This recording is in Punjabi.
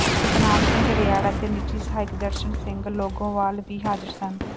ਸਤਨਾਮ ਸਿੰਘ ਰਿਆੜ ਅਤੇ ਨਿੱਜੀ ਸਹਾਇਕ ਦਰਸ਼ਨ ਸਿੰਘ ਲੌਂਗੋਵਾਲ ਵੀ ਹਾਜ਼ਰ ਸਨ